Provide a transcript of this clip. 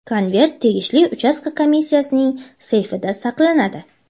konvert tegishli uchastka komissiyasining seyfida saqlanadi.